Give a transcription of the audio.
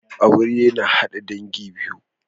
Aure na hada dangi biyu